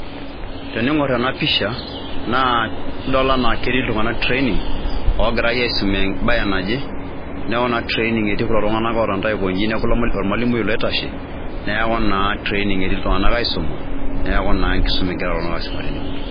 Teniing'or ena pisha nidol naa ketii iltung'anak training ogirai aisum embaye naje, neeku naa training etii kulo tung'anak otonita aikonji neeku naa ormalimui ilo oitashe, neeku naa traning eti iltung'anak aisuma neeku naa enkisuma egira iltung'anak aisuma tene wueji.